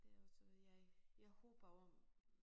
Det er jo så jeg jeg håber om